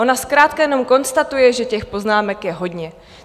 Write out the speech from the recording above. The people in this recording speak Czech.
Ona zkrátka jenom konstatuje, že těch poznámek je hodně.